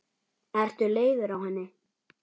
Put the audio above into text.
Ertu leiður á henni?